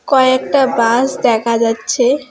কয়েকটা বাস দেখা যাচ্ছে।